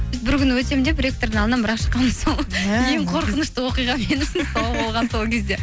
бір күні өтемін деп ректордың алдынан бір ақ шыққанмын сол ең қорқынышты оқиға сол болған сол кезде